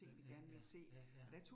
Ja ja ja, ja ja